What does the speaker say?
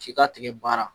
K'i ka tigɛ baara